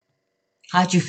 Radio 4